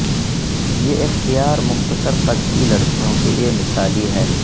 یہ اختیار مختصر قد کی لڑکیوں کے لئے مثالی ہے